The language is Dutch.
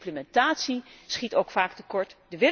De implementatie schiet ook vaak tekort.